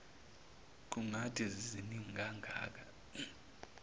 kungathi ziziningi kangaka